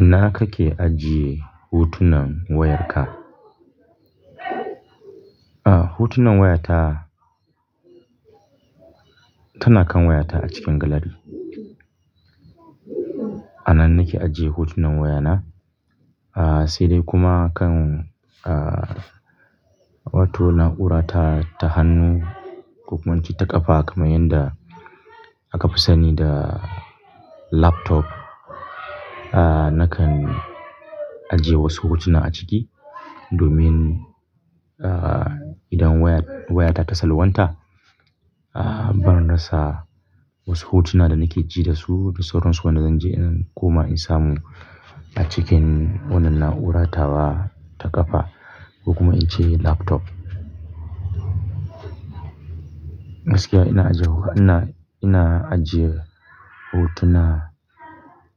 Ina kake ajiye hutunan wayarka? Ah, hutunan wayata tana kan wayata a cikin gallery. A nan nake ajiye hutunan wayana. Ah, sai dai kuma kan, ah, wato na'ura ta, ta hannu ko kuma ince ta ƙafa kamar yadda aka fi sani da laptop. Ah, nakan ajiye wasu hutuna a ciki domin, ah, idan wayar, wayata ta salwanta, ah, ban rasa wasu hutuna da nake ji da su da sauransu wadanda zan je ina koma in samu a cikin wannan na'ura tawa ta ƙafa kuma ince laptop. Gaskiya ina aje, ina, ina ajiye hutuna